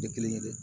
Tɛ kelen ye dɛ